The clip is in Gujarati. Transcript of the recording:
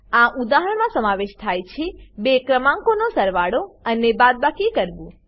આ ઉદાહરણમાં સમાવેશ થાય છે બે ક્રમાંકોનો સરવાળો અને બાદબાકી કરવું